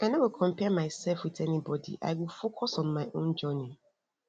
i no go compare mysef wit anybody i go focus on my own journey